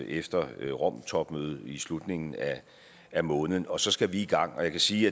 efter romtopmødet i slutningen af måneden og så skal vi i gang jeg kan sige